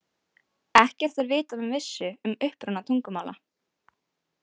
Ekkert er vitað með vissu um uppruna tungumála.